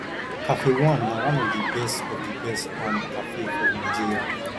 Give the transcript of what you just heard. cafe one na one of the best of the best um cafe for nigeria